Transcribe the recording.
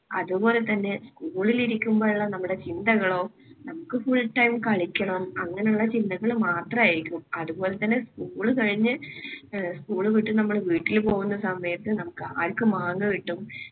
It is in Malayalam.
അതുപോലെതന്നെ school ൽ ഇരിക്കുമ്പോൾ ഉള്ള നമ്മുടെ ചിന്തകളോ നമുക്ക് full time കളിക്കണം അങ്ങനെയുള്ള ചിന്തകൾ മാത്രം ആയിരിക്കും. അതുപോലെതന്നെ school കഴിഞ്ഞ് school വിട്ട് നമ്മൾ വീട്ടിൽ പോകുന്ന സമയത്ത് നമുക്ക് ആർക്ക് മാങ്ങ കിട്ടും.